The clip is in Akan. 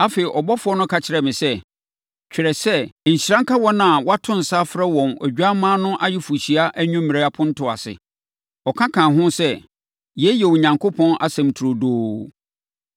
Afei, ɔbɔfoɔ no ka kyerɛɛ me sɛ, “Twerɛ sɛ, Nhyira nka wɔn a wɔato nsa afrɛ wɔn Odwammaa no ayeforɔhyia anwummerɛ apontoɔ ase.” Ɔka kaa ho sɛ, “Yei yɛ Onyankopɔn asɛm turodoo.”